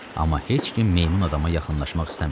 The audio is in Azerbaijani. Amma heç kim meymun adama yaxınlaşmaq istəmirdi.